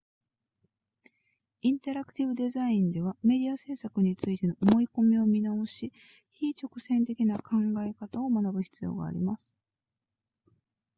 インタラクティブデザインではメディア制作についての思い込みを見直し非直線的な考え方を学ぶ必要があります